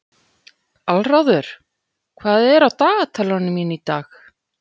Aðalráður, hvað er á dagatalinu mínu í dag?